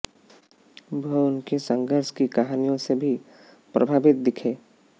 वह उनकी संघर्ष की कहानियों से भी प्रभावित दिखे